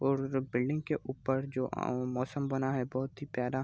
और उधर बिल्डिंग के ऊपर जो आउ मौसम बना है बहुत ही प्यारा --